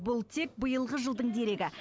бұл тек биылғы жылдың дерегі